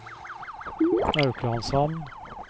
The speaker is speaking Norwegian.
Auklandshamn